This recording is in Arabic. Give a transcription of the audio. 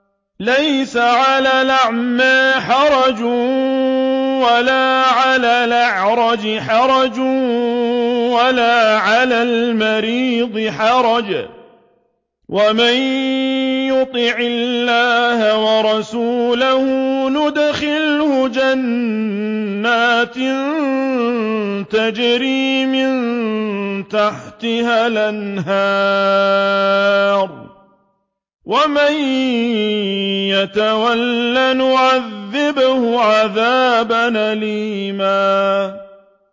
لَّيْسَ عَلَى الْأَعْمَىٰ حَرَجٌ وَلَا عَلَى الْأَعْرَجِ حَرَجٌ وَلَا عَلَى الْمَرِيضِ حَرَجٌ ۗ وَمَن يُطِعِ اللَّهَ وَرَسُولَهُ يُدْخِلْهُ جَنَّاتٍ تَجْرِي مِن تَحْتِهَا الْأَنْهَارُ ۖ وَمَن يَتَوَلَّ يُعَذِّبْهُ عَذَابًا أَلِيمًا